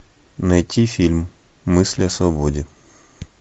найти фильм мысли о свободе